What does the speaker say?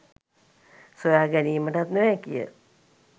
සොයා ගැනීමටත් නොහැකිය.